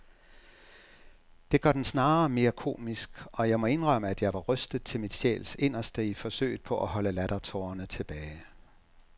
Det gør den snarere mere komisk, og jeg må indrømme, at jeg var rystet til min sjæls inderste i forsøget på at holde lattertårerne tilbage.